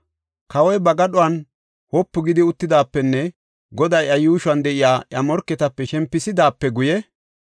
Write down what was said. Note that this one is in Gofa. Kawoy ba gadhon wopu gidi uttidaapenne Goday iya yuushuwan de7iya iya morketape shempisidaape guye,